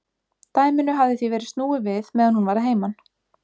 Dæminu hafði því verið snúið við meðan hún var að heiman.